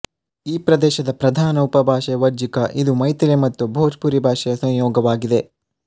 ಈ ಪ್ರದೇಶದ ಪ್ರಧಾನ ಉಪಭಾಷೆ ವಜ್ಜಿಕ ಇದು ಮೈಥಿಲಿ ಮತ್ತು ಬೊಜ್ ಪುರಿ ಭಾಷೆಯ ಸಂಯೋಗವಾಗಿದೆ